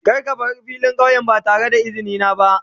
Kar ka bar filin kauyen ba da izini na ba.